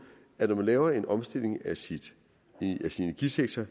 at når man laver en omstilling af sin energisektor